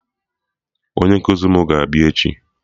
Onye nkụzi mụ ga-abịa echi